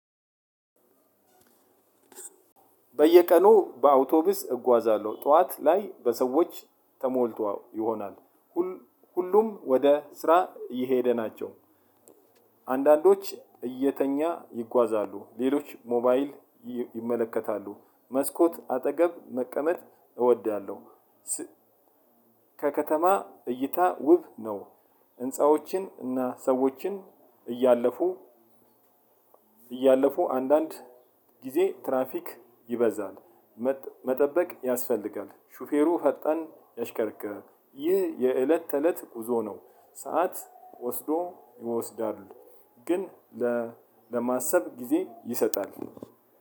በየቀኑ በአውቶቡስ እጓዛለሁ ጠዋት ላይ በሰዎች ተሞልቶ ይሆናል ሁሉ ሁሉም ወደ ስራ እየሄደ ናቸው። አንዳንዶች እየተኛ ይጓዛሉ ሌሎች ሞባይል ይ ይመለከታሉ መስኮት አጠገብ መቀመጥ እወዳለሁ። ስ ከከተማ እይታ ውጭ ነው። ህንፃዎችን እና ሠዎችን እያለፉ እያለፉ አንዳንድ ጊዜ ትራፊክ ይበዛል መጠ መጠበቅ ያስፈልጋል። ሹፌሩ ፈጣን ያሽከረክራል ይህ የእለት ተእለት ጉዞ ነው። ሰዓት ወስዶ ይወስዳሉ ግን ለ ለማሰብ ጊዜ ይሰጣል።